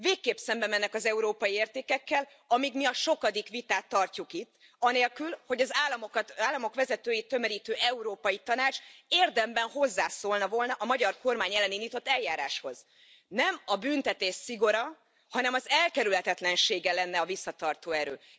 Végképp szembemennek az európai értékekkel, amíg mi a sokadik vitát tartjuk itt, anélkül, hogy az államok vezetőit tömörítő Európai Tanács érdemben hozzászólt volna a magyar kormány ellen indított eljáráshoz. Nem a büntetés szigora, hanem az elkerülhetetlensége lenne a visszatartó erő.